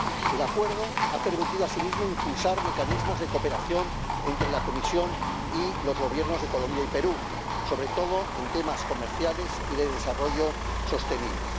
El Acuerdo ha permitido asimismo impulsar mecanismos de cooperación entre la Comisión y los Gobiernos de Colombia y Perú, sobre todo en temas comerciales y de desarrollo sostenible.